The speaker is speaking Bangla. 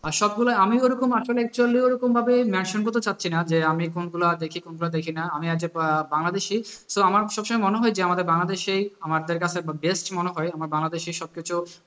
আর সবগুলোই আসলে আমিও ঐরকম আসলে actually ওরকমভাবে nation গত চাচ্ছি না যে আমি কোনগুলা দেখি কোনগুলা দেখি না, আমি হচ্ছে আহ বাংলাদেশী so আমার সবসময় মনে হয় যে আমাদের বাংলাদেশই আমাদের কাছে best মনে হয়, আমার বাংলাদেশের সবকিছু